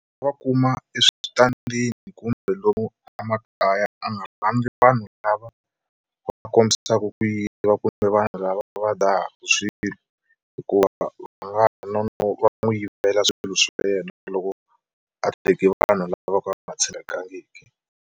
Va kuma eswitandini kumbe lomu a makaya a nga rhandzi vanhu lava va kombisaka ku yiva kumbe vanhu lava va dzahaka swilo hikuva va nga ha no va n'wi yivela swilo swa yena loko a teke vanhu lava vo ka va nga tshembekangiki.